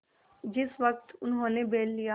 जिस वक्त उन्होंने बैल लिया